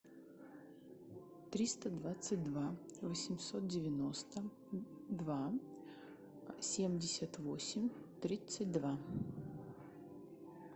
триста двадцать два восемьсот девяносто два семьдесят восемь тридцать два